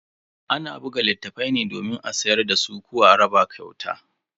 Ana buga littafai ne domin a siyar dasu ko a raba kyauta.